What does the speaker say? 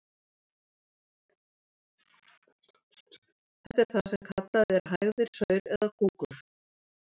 Þetta er það sem kallað er hægðir, saur eða kúkur.